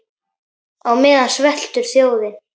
Á meðan sveltur þjóðin.